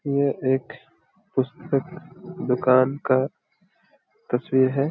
ये एक पुस्तक दुकान का तस्वीर है।